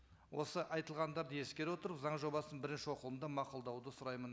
осы айтылғандарды ескере отырып заң жобасын бірінші оқылымда мақұлдауды сұраймын